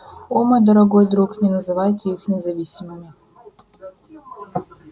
о мой дорогой друг не называйте их независимыми